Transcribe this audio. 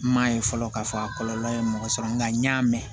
N m'a ye fɔlɔ k'a fɔ a kɔlɔlɔ ye mɔgɔ sɔrɔ nga n y'a mɛn